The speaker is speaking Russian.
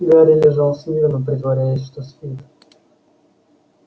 гарри лежал смирно притворяясь что спит